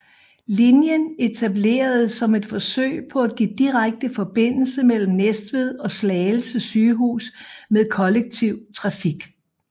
Linjen etableredes som et forsøg på at give direkte forbindelse mellem Næstved og Slagelse Sygehus med kollektiv trafik